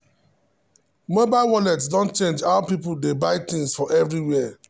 mobile wallet don change how people dey buy things for everywhere.